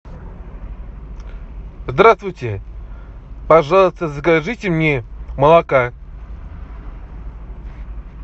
здравствуйте пожалуйста закажите мне молока